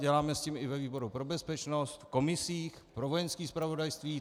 Děláme s tím i ve výboru pro bezpečnost, v komisích, pro Vojenské zpravodajství.